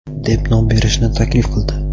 deb nom berishni taklif qildi.